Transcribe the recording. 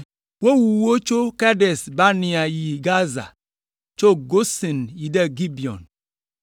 Wowu wo tso Kades Barnea yi Gaza, tso Gosen yi Gibeon.